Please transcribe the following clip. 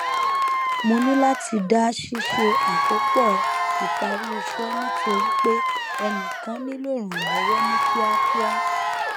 mo níláti dá ṣíṣe àkópọ ìparí iṣẹ nítorí pé ẹnìkan nílò ìrànlọwọ ní kíákíá